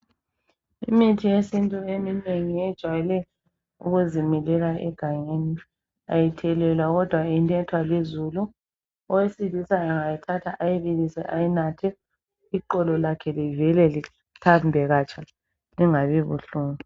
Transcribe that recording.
Imithi eminengi yesintu ijwayele ukuzimilela egangeni, ayithelelwa khodwa inethwa lizulu. Ongawesilisa angayithatha angayibilisa ayinathe, iqolo lakhe livele lithambe katsha lingabi buhlungu.